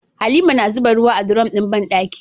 Halima na zuba ruwa a durom din banɗaki